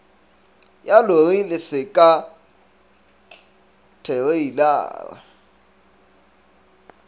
ya lori le seka thereilara